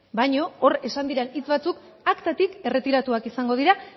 baina hor esan diren hitz batzuk aktatik erretiratuak izango dira